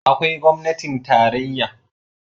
Akwai gwamnatin tarayya